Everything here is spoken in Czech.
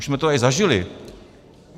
Už jsme to tady zažili...